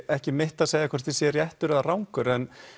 ekki mitt að segja hvort ég sé réttur eða rangur